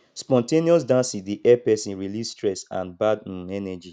spon ten ous dancing dey help person release stress and bad um energy